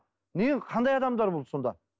не қандай адамдар бұл сонда